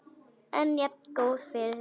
En jafngóð fyrir því!